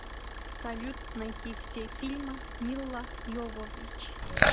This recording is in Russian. салют найти все фильмы милла йовович